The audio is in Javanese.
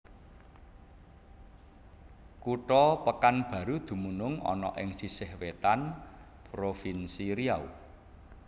Kutha Pekanbaru dumunung ana ing sisih wétan Provinsi Riau